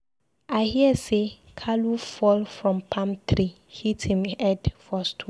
I hear say Kalu fall from palm tree hit him head for stone.